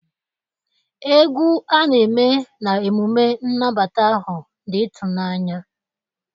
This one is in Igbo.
egwu a na-eme na emume nnabata ahụ dị ịtụnanya